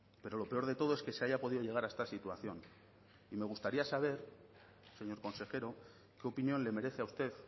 pero lo peor de todo es que se haya podido llegar a esta situación y me gustaría saber señor consejero qué opinión le merece a usted